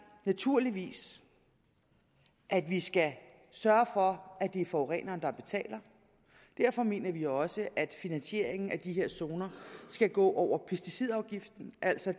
naturligvis at vi skal sørge for at det er forureneren der betaler derfor mener vi også at finansieringen af de her zoner skal gå over pesticidafgiften altså